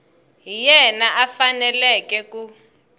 hi yena a faneleke ku